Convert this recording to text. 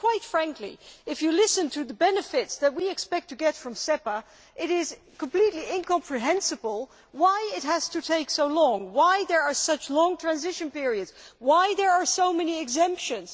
Quite frankly, if you listen to the benefits that we expect to get from SEPA, it is completely incomprehensible why it has to take so long, why there are such long transition periods and why there are so many exemptions.